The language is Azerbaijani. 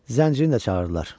Zənciri də çağırdılar.